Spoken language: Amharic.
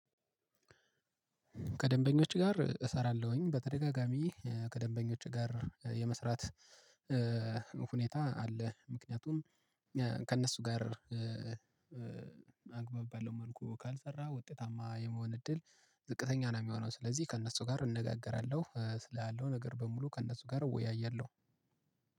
ከደንበኞች ጋር እሰራለሁኝ በተደጋጋሚ ከደንበኞች ጋር የመስራት ሁኔታ አለ። ምክንያቱም ከእነሱ ጋር አግባብ ባለው መልኩ ካልሰራ ውጤታማ የመሆን እድል ዝቅተኛ ነው የሚሆነው። ስለዚህ ከእነሱ ጋር እነጋገራለሁ ስላለው ነገር በሙሉ ከእነሱ ጋር እወያያለሁ።